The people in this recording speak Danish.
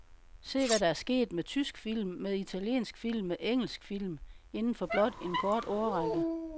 Se hvad der er sket med tysk film, med italiensk film, med engelsk film, inden for blot en kort årrække.